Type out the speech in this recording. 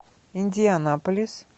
индианаполис